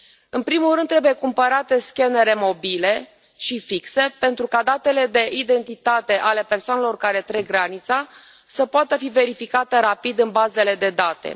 În primul rând trebuie cumpărate scannere mobile și fixe pentru ca datele de identitate ale persoanelor care trec granița să poată fi verificate rapid în bazele de date.